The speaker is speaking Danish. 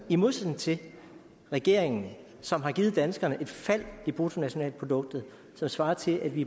i modsætning til regeringen som har givet danskerne et fald i bruttonationalproduktet som svarer til at vi